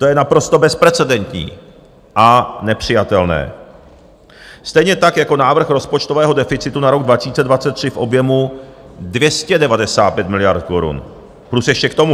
To je naprosto bezprecedentní a nepřijatelné, stejně tak jako návrh rozpočtového deficitu na rok 2023 v objemu 295 miliard korun plus ještě k tomu.